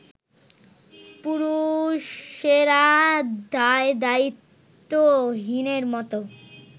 পুরুষেরা দায়দায়িত্বহীনের মতো